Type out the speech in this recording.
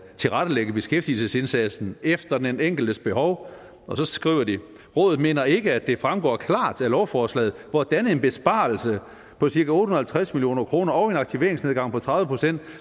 tilrettelægge beskæftigelsesindsatsen efter den enkeltes behov og så skriver de rådet mener ikke at det fremgår klart af lovforslaget hvordan en besparelse på cirka otte hundrede og halvtreds million kroner og en aktivitetsnedgang på tredive procent